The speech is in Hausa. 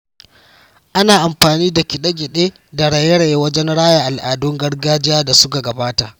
Ana amfani da kide-kide da raye-raye wajen raya al’adun gargajiya da suka gabata.